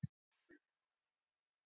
Ég hef það enn.